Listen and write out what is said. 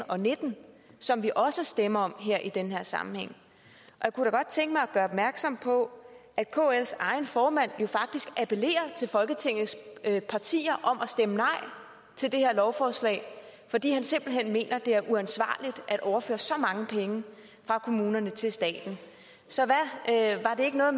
og nitten som vi også stemmer om i den her sammenhæng jeg kunne da godt tænke mig at gøre opmærksom på at kls egen formand jo faktisk appellerer til folketingets partier om at stemme nej til det her lovforslag fordi han simpelt hen mener at det er uansvarligt at overføre så mange penge fra kommunerne til staten så var det ikke noget at